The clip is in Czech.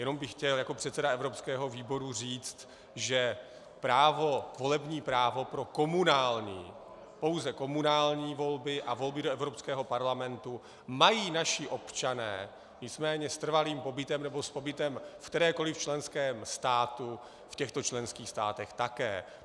Jenom bych chtěl jako předseda evropského výboru říct, že právo, volební právo pro komunální, pouze komunální volby a volby do Evropského parlamentu mají naši občané, nicméně s trvalým pobytem nebo s pobytem v kterémkoli členském státu v těchto členských státech také.